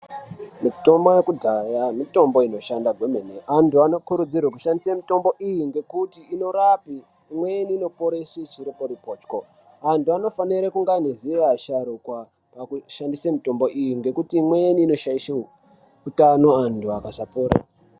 Mitombo yekudhaya mitombo unoshanda kwemene. Anthu anokurudzirwa kushandise mitombo iyi ngekuti inorape. Imweni inoponese chiriporipocho. Anthu anofana kunge neziva vasharuka pakushandise mitombo iyi nekuti imweni inoshaishe utano anthu akasapora.